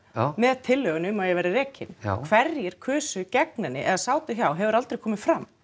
með tillögunni um að ég verði rekin já hverjir kusu gegn henni eða sátu hjá hefur aldrei komið fram